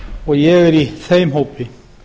og ég er í þeim hópi